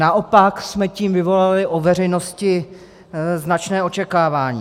Naopak jsme tím vyvolali u veřejnosti značné očekávání.